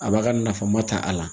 A b'a ka nafan ma ta a la